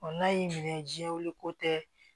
n'a y'i minɛ jɛnwu ko tɛ